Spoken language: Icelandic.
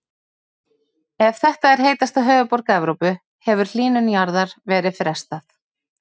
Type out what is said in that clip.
Ef þetta er heitasta höfuðborg Evrópu hefur hlýnun jarðar verið frestað.